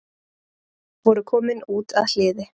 Voru komin út að hliði